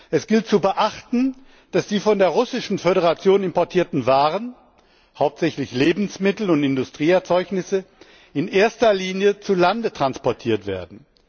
Es gilt zu beachten, dass die von der Russischen Föderation importierten Waren, hauptsächlich Lebensmittel und Industrieerzeugnisse, in erster Linie zu Lande transportiert werden.